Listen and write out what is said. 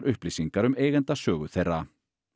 upplýsingar um eigendasögu þeirra